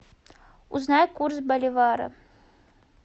узнай курс боливара